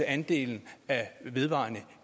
andelen af vedvarende